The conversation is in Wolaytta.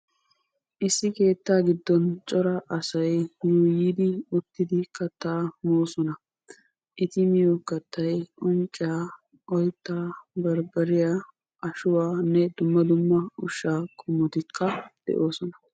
Issi keetta giddon cora asay uttiddi